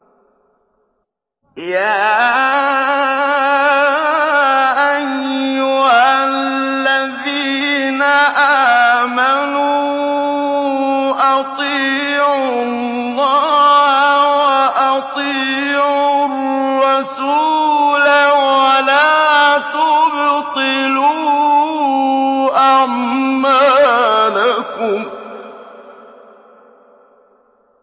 ۞ يَا أَيُّهَا الَّذِينَ آمَنُوا أَطِيعُوا اللَّهَ وَأَطِيعُوا الرَّسُولَ وَلَا تُبْطِلُوا أَعْمَالَكُمْ